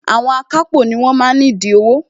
Àwọn akápò ni wọ́n wà nídìí owó